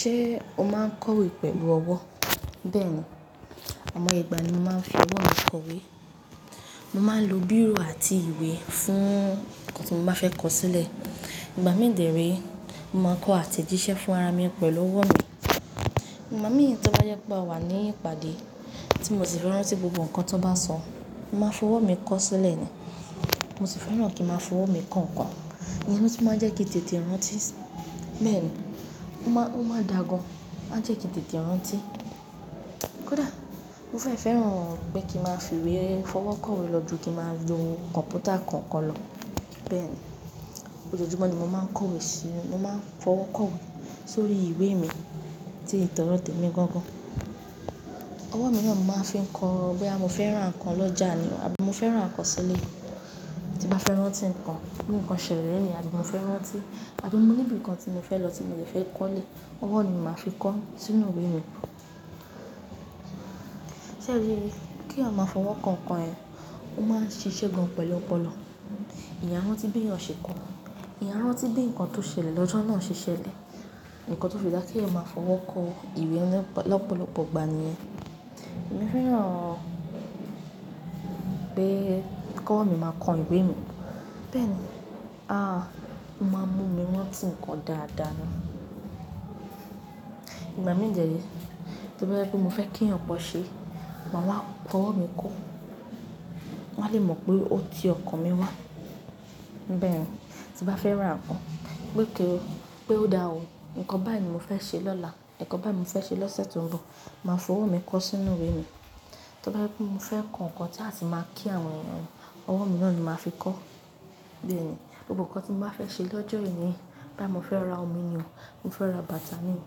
Ṣé o máa kọ̀wé pẹ̀lú ọwọ́? Bẹ́ẹ̀ni, àwọn ìgbà ni mo máa ń fi ọwọ́ mi kọ̀wé. Mo máa ń lo bírò àti ìwé fún ohun tí mo fẹ́ kọ sílẹ̀. Ìgbà mí dẹ̀ ré, mo máa ń kọ àtẹ̀jíṣẹ́ fún ara mi pẹ̀lú ọwọ́ mi. Ìgbà mìíràn tí ó bá jẹ́ pé awà ní ìpàdé tí mo sì fẹ́ rántí gbogbo nǹkan tó bá sọ, màá fi ọwọ́ mi kọ sílẹ̀ ni. Mo sì fẹ́ràn kí màá fi ọwọ́ mi kọ nǹkan, ìyẹn ló tún máa ń jẹ́ kí tètè rántí. Bẹ́ẹ̀ni, ó máa dà gan, a jẹ́ kí tètè rántí. Kódà mo fẹ́ fẹ́ràn pé kí màá fi ìwé fọwọ́ kọ̀wé lọ ju kí màá lo kọ̀mpútà kankan lọ. Bẹ́ẹ̀ni, ojojúmọ́ ni mo máa ń kọ̀wé sí, mo máa ń fọwọ́ kọ̀wé sórí ìwé mi tí tọdọ tèmi gangan. Ọwọ́ mi náà mò ń fi kọ bóyá mo fẹ́ rá ǹkan lọ́jà ni, àbí mo fẹ́ rán ǹkan sílẹ̀, tí màá fẹ́ rántí ǹkan, bí nǹkan ṣẹlẹ̀ lónìí àbí mo fẹ́ rántí, àbí mo ní ibi tí mo fẹ́ lọ tí mo lè fẹ́ kọ́lé, ọwọ́ ni màá fi kọ sínú ìwé mi. Ṣé o ríi? Kí èèyàn máa fọwọ́ kọ ǹkan ẹ, ó máa ń ṣiṣẹ́ gan pẹ̀lú ọpọlọ. Èèyán a rántí bí èèyàn ṣe kọ, èèyán a rántí bí nǹkan tó ṣẹlẹ̀ lọ́jọ́ náà ṣe ṣẹlẹ̀, nǹkan tó fi dáa kí èèyàn máa fọwọ́ kọ ìwé lọ́pọ̀lọpọ̀ ìgbà ni. Èmi fẹ́ràn pé kọwọ́ mi máa kọ ìwé mi, bẹ́ẹ̀ni, a, ó máa ń mú mi rántí ǹkan dáadáa ni. Ìgbà mí dẹ̀ ré, tí ó bá jẹ́ pé mo fẹ́ kí èèyàn kan ṣe, màá wá fọwọ́ mi kọ, wọ́n á lè mọ̀ pé ó ti ọkàn mi wá. Bẹ́ẹ̀ni, tí màá fẹ́ rá ǹkan, pé ó dáa o, ǹkan báyìí ni mo fẹ́ ṣe lọ́la, ǹkan báyìí mo fẹ́ ṣe lọ́sẹ̀ tó ń bọ̀, màá fi ọwọ́ mi kọ sínú ìwé mi. Tí ó bá jẹ́ pé mo fẹ́ kọ nǹkan tí a sì máa kí àwọn èèyàn, ọwọ́ mi náà ni màá fi kọ. Bẹ́ẹ̀ni, gbogbo nǹkan tí mo bá fẹ́ ṣe lọ́jọ́ yẹn, bóyá mo fẹ́ ra omi ni o, mo fẹ́ ra bàtà ni o,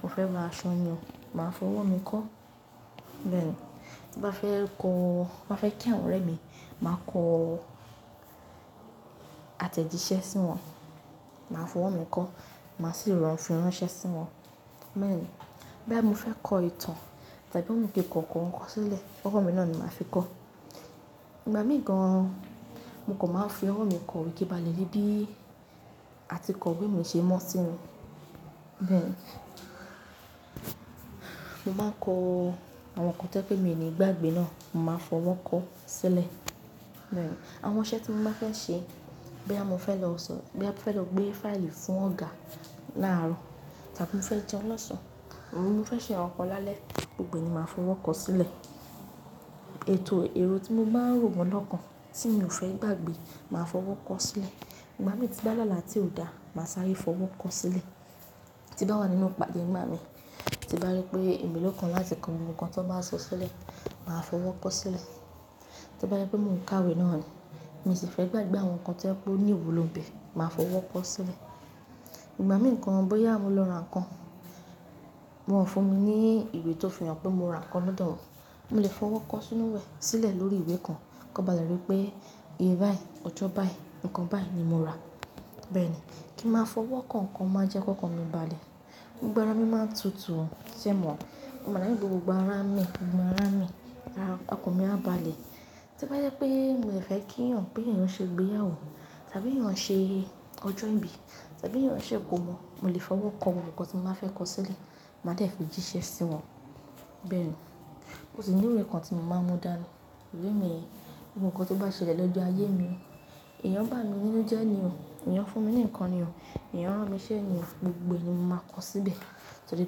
mo fẹ́ ra aṣọ ni o, màá fi ọwọ́ mi kọ. Bẹ́ẹ̀ni, tí màá fẹ́ kí àwọn ọ̀rẹ́ mi, màá kọ àtẹ̀jíṣẹ́ sí wọn, màá fi ọwọ́ mi kọ, màá sì rán fìráníṣẹ́ sí wọn. Bẹ́ẹ̀ni, bóyá mo fẹ́ kọ ìtàn tàbí mo ní kí ǹkan kọ sílẹ̀, ọwọ́ mi náà ni màá fi kọ. Ìgbà mí gan, mo kò máa ń fi ọwọ́ mi kọ ìwé kí balẹ̀ ríbí àti kọ ìwé mi ṣe mọ́ sí mi. Bẹ́ẹ̀ni, mo máa ń kọ àwọn nǹkan tí ó jẹ́ pé mi ní gbàgbé náà, mo máa fọwọ́ kọ sílẹ̀. Bẹ́ẹ̀ni, àwọn iṣẹ́ tí mo máa fẹ́ ṣe, bóyá mo fẹ́ lọ gbé fáìlì fún ọ̀gá láàárọ̀ tàbí mo fẹ́ jẹun lọ́sàn, mo fẹ́ ṣe nkankan lálẹ́, gbogbo ẹ ni màá fi ọwọ́ kọ sílẹ̀. Ètò èrò tí mo máa ń rò gan lọ́kàn tí mi ò fẹ́ gbàgbé, màá fi ọwọ́ kọ sílẹ̀. Ìgbà mí tín bá lálà ti ò dáa, màá sáré fi ọwọ́ kọ sílẹ̀. Tí bá wà nínú ìpàdé ìgbà mí, tí bá rí pé èmi ló kan láti kọ ohun kan tó báa sọ sílẹ̀, màá fi ọwọ́ kọ sílẹ̀. Tí ó bá jẹ́ pé mò ń kàwé náà ni, mi sì fẹ́ gbàgbé àwọn nǹkan tí ó jẹ́ pé o ní ìwúlò bẹ̀, màá fi ọwọ́ kọ sílẹ̀. Ìgbà mí gan bóyá mo lọ ra ǹkan, wọ́n fún mi ní ìwé tó fi hàn pé mo ra ǹkan lọ́dọ̀ wọn, mo lè fi ọwọ́ kọ sínú rẹ̀ sílẹ̀ lórí ìwé kan, kan ba le rí pé iye báyìí, ọjọ́ báyìí, ǹkan báyìí ni mo rà. Bẹ́ẹ̀ni, kí màá fi ọwọ́ kọ nǹkan máa jẹ́ kó kan mi balẹ̀. Gbogbo ara mi máa ń tutù, ṣẹ̀ mọ? Mo máa ní gbogbo ara mi, gbogbo ara mi, ara ọkàn mi á balẹ̀. Tí ó bá jẹ́ pé mo dẹ̀ fẹ́ kí èèyàn pé èèyàn ṣe ìgbéyàwó tàbí èèyàn ṣe ọjọ́ ìbí tàbí èèyàn ṣe ìkọ́mọ, mo lè fi ọwọ́ kọ gbogbo ǹkan tí mo báa fẹ́ kọ sílẹ̀, màá dẹ̀ fi jíṣẹ́ sí wọn. Bẹ́ẹ̀ni, ó sì mo ìwé kan tí mo máa ń mú dàni. Ìwé mi, gbogbo nǹkan tó bá ṣẹlẹ̀ lọ́jọ́ ayé mi, èèyàn bá mi nínú jẹ́ ni o, èèyàn fún mi ní nǹkan ni o, èèyàn rán mii ṣẹ́ ni o, gbogbo ẹni mo máa kọ síbẹ̀. Torí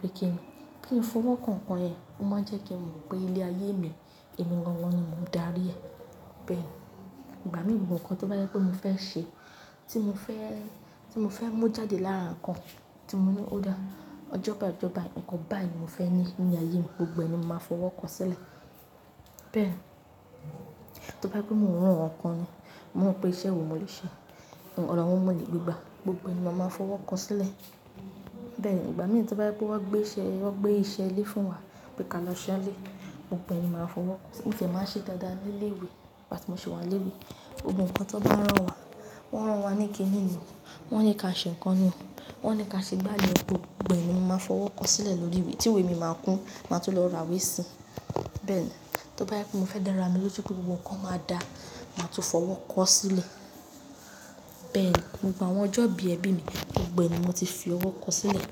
pé kí n fi ọwọ́ kọ nǹkan yẹn, ó máa ń jẹ́ kí mo mọ̀ pé ilé ayé mi, èmi gángan ni mò ń darí rẹ̀. Bẹ́ẹ̀ni, ìgbà mí gbogbo nǹkan tó bá jẹ́ pé mo fẹ́ ṣe, tí mo fẹ́ mú jáde láàára ǹkan tí mo ní ó dáa, ọjọ́ báyìí, ọjọ́ báyìí, ǹkan báyìí ni mo fẹ́ ní ní ayé mi, gbogbo ẹni mo máa fi ọwọ́ kọ sílẹ̀. Bẹ́ẹ̀ni, tí ó bá jẹ́ pé mò ń rán wọn kan ni, mò ń rò pè iṣẹ́ wo mo lè ṣe, ọ̀nà wo mò lè gba, gbogbo ẹni mo máa fi ọwọ́ kọ sílẹ̀. Bẹ́ẹ̀ni, ìgbà mí tí ó bá jẹ́ wí pé wọ́n gbé iṣẹ́ lé fún wa pé ká lọ ṣe nílé, gbogbo ẹ ni màá fi ọwọ́ kọ. Mo tìẹ́ máa ń ṣe dáadáa nílé ìwé nígbà tí mo sì wà nílé ìwé, gbogbo nǹkan tó bá rán wa, wọ́n rán wa ní kí ni o, wọ́n ní ká ṣe nǹkan ni o, wọ́n ní ká ṣe gbá ni o, gbogbo ẹ ni mo máa fi ọwọ́ kọ sílẹ̀ lórí ìwé tí ìwé mi máa kún, màá tún lọ ra ìwé sí. Bẹ́ẹ̀ni, tí ó bá jẹ́ pé mo fẹ́ dára lójú pé gbogbo nǹkan máa dà, màá tún fi ọwọ́ kọ sílẹ̀. Bẹ́ẹ̀ni, gbogbo àwọn ọjọ́ ìbí ẹbí mi, gbogbo ẹni mo ti fi ọwọ́ kọ sílẹ̀.